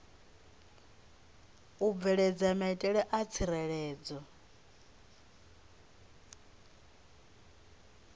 u bveledza maitele a tsireledzo